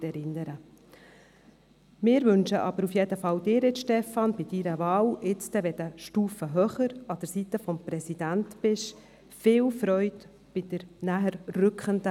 Ihnen, Stefan Costa, wünschen wir auf jeden Fall viel Freude für die näher rückende, neue Aufgabe, wenn Sie dann eine Stufe höher sind.